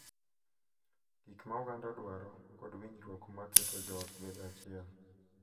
Gik ma oganda dwaro, kod winjruok ma keto joot bedo achiel.